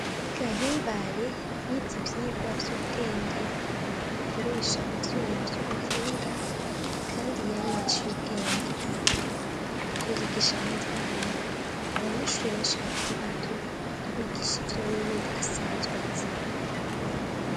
Gahimbare yize ivyigwa vy'ubwenge. Bakoresha ivyuma vy'ubuhinga kandi yamye aciye ubwenge. Ariko yigisha abandi bana, abanyeshuri benshi bakiri bato, abigisha ivyo wewe asanzwe azi.